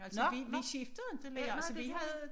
Altså vi vi skiftede inte lærer altså vi havde